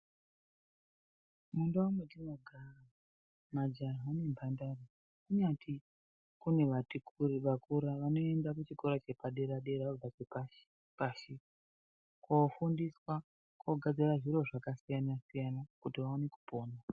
Mundau mwetinogara majaha nemhandara kunyati kune vati kurei vakurara vanoenda kuchikora chepadera dera vabva chepashi pashi kofundiswa kugadzira zviro zvakasiyana siyana kuti vaone kupona.